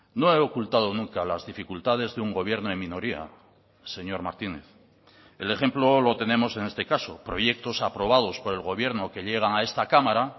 no he ocultado nunca las dificultades de un gobierno en minoría señor martínez el ejemplo lo tenemos en este caso proyectos aprobados por el gobierno que llegan a esta cámara